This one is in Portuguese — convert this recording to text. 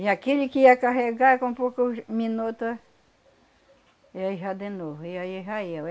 E aquele que ia carregar com poucos minuto, ia já de novo, e aí já ia.